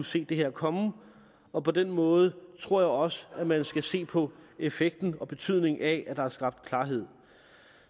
se det her komme og på den måde tror jeg også man skal se på effekten og betydningen af at der er skabt klarhed